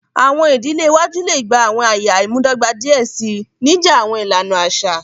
Awọn idile iwaju le gba awọn ẹya imudọgba diẹ sii, nija awọn ilana aṣa.